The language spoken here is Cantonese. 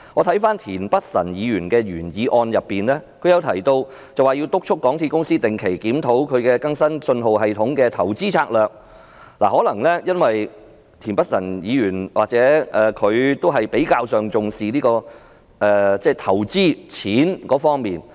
田北辰議員的原議案提出有需要"督促港鐵公司定期檢討其更新信號系統的投資策略"，這或許是由於田北辰議員較為重視投資和金錢方面。